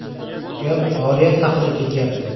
Gap oriyat haqida ketyapti.